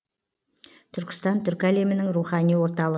түркістан түркі әлемінің рухани орталы